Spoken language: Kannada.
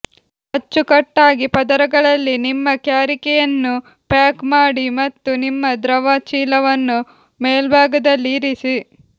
ಅಚ್ಚುಕಟ್ಟಾಗಿ ಪದರಗಳಲ್ಲಿ ನಿಮ್ಮ ಕ್ಯಾರಿಕೆಯನ್ನು ಪ್ಯಾಕ್ ಮಾಡಿ ಮತ್ತು ನಿಮ್ಮ ದ್ರವ ಚೀಲವನ್ನು ಮೇಲ್ಭಾಗದಲ್ಲಿ ಇರಿಸಿ